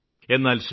എന്നാല് ശ്രീ